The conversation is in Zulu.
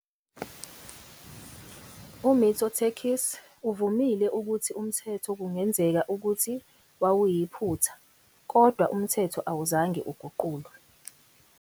UMitsotakis uvumile ukuthi umthetho kungenzeka ukuthi wawuyiphutha, kodwa umthetho awuzange uguqulwe.